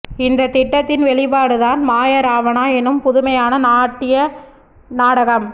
இந்த திட்டத்தின் வெளிப்பாடுதான் மாய ராவணா எனும் புதுமையான நாட்டிய நாடகம்